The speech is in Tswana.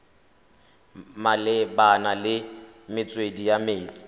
malebana le metswedi ya metsi